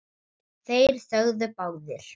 Þeir þögðu báðir.